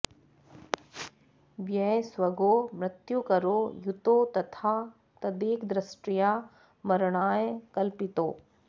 व्यय स्वगौ मृत्युकरौ युतौ तथा तदेकदृष्ट्या मरणाय कल्पितौ